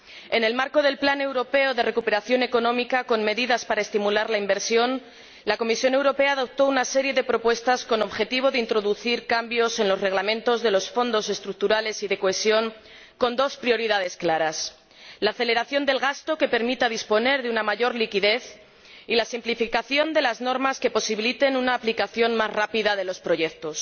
En el marco del Plan europeo de recuperación económica con medidas para estimular la inversión, la Comisión Europea adoptó una serie de propuestas con objeto de introducir cambios en los reglamentos de los Fondos estructurales y de cohesión, con dos prioridades claras la aceleración del gasto, para disponer de mayor liquidez, y la simplificación de las normas, para posibilitar una aplicación más rápida de los proyectos.